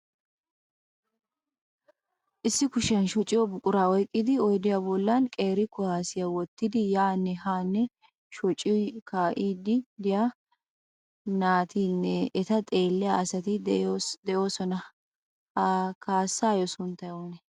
Issi kushiyan shociyoo buquraa oyqqidi oydiyaa bollan qeeri kuwaassiya wottidi yaanne haanne shociyoo kaa'iiddi diyaa naatinne eta xeeliya asati de'oosona. Ha kaassaayyo sunttay oonnee?